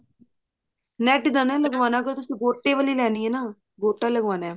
net ਦਾ ਨਾ ਲਗਵਾਉਣ ਤੁਸੀਂ ਗੋਟੇ ਵਾਲੀ ਲੈਣੀ ਹੈ ਨਾ ਗੋਟਾ ਲਗਵਾਉਣਾ